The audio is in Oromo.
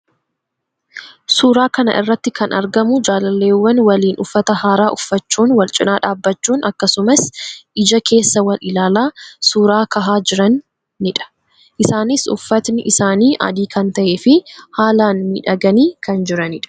Suuraa kana irratti kan argamu jaalalleewwan waliin uffata haaraa uffachuun wal cina dhaabbachuun akkasumas ija keessa wal ilaalaa suuraa kahaa jiranii dha. Isaanis uffatni isaanii adii kan tahee fi haalaan miidhaganii kan jiranii dha.